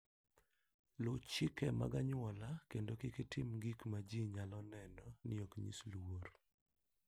Luw chike mag anyuolau kendo kik itim gik ma ji nyalo neno ni ok nyis luor.